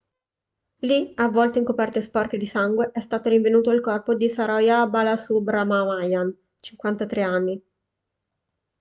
lì avvolto in coperte sporche di sangue è stato rinvenuto il corpo di saroja balasubramanian 53 anni